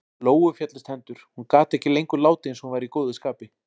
Lóu féllust hendur- hún gat ekki lengur látið eins og hún væri í góðu skapi.